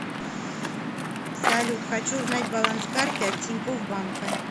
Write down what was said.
салют хочу узнать баланс карты от тинькофф банка